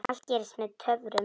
Allt gerist með töfrum.